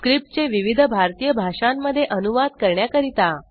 script चे विविध भारतीय भाषांमध्ये अनुवाद करण्याकरीता